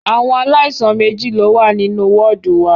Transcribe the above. Àwọn aláìsàn méjì ní o wà nínú wọ́ọ̀dù wa.